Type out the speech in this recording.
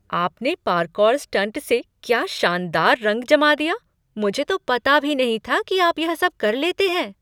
आपने parkour stunt से क्या शानदार रंग जमा दिया! मुझे तो पता भी नहीं था कि आप यह सब कर लेते हैं।